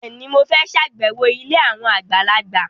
Bẹ́ẹ̀ni, mo fẹ́ ṣàbẹ̀wọ̀ ilé àwọn àgbàlagbà